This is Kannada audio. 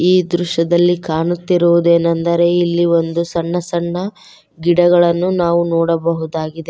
ಈ ದೃಶ್ಯದಲ್ಲಿ ಕಾಣುತ್ತಿರುವುದೇನೆಂದರೆ ಇಲ್ಲಿ ಒಂದು ಸಣ್ಣ ಸಣ್ಣ ಗಿಡಗಳನ್ನು ನಾವು ನೋಡಬಹುದಾಗಿದೆ.